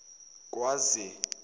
kwaze